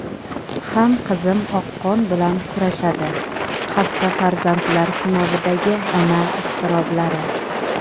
ham qizim oqqon bilan kurashadi – xasta farzandlar sinovidagi ona iztiroblari.